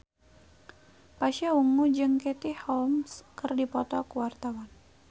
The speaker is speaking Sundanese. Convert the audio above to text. Pasha Ungu jeung Katie Holmes keur dipoto ku wartawan